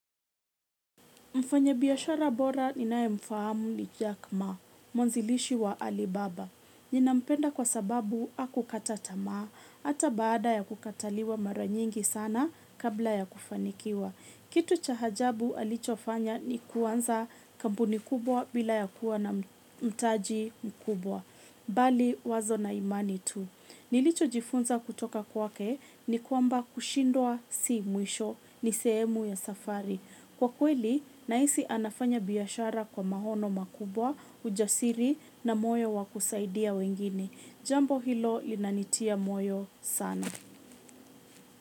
Mfanyabiashara bora ninaye mfahamu ni Jack Ma, mwanzilishi wa Alibaba. Ninampenda kwa sababu hakukata tamaa, hata baada ya kukataliwa mara nyingi sana kabla ya kufanikiwa. Kitu cha ajabu alichofanya ni kuanza kampuni kubwa bila ya kuwa na mtaji mkubwa. Bali wazo na imani tu. Nilichojifunza kutoka kwake ni kwamba kushindwa si mwisho ni sehemu ya safari. Kwa kweli, nahisi anafanya biashara kwa maono makubwa, ujasiri na moyo wa kusaidia wengine. Jambo hilo linanitia moyo sana.